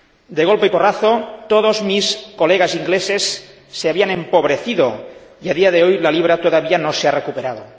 De golpe y porrazo, todos mis colegas ingleses se habían empobrecido y a día de hoy la libra todavía no se ha recuperado.